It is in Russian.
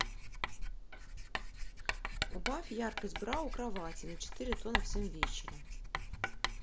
убавь яркость бра у кровати на четыре тона в семь вечера